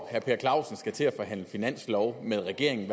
at herre per clausen skal til at forhandle finanslov med regeringen